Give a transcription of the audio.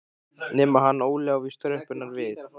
Nema hann Óli á víst tröppurnar við